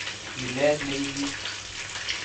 Milet ne nyigis